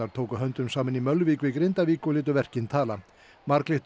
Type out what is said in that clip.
tóku höndum saman í Mölvík við Grindavík og létu verkin tala